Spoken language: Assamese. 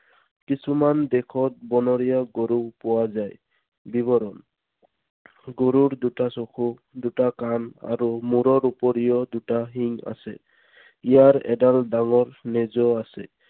কিছুমান দেশত বনৰীয়া গৰুও পোৱা যায়। বিৱৰণ। গৰুৰ দুটা চকু, দুটা কাণ আৰু মূৰৰ উপৰিও দুটা শিং আছে। ইয়াৰ এডাল ডাঙৰ নেজো আছে।